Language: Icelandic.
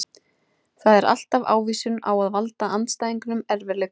Það er alltaf ávísun á að valda andstæðingunum erfiðleikum.